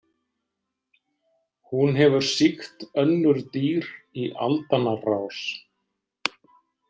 Hún hefur sýkt önnur dýr í aldanna rás.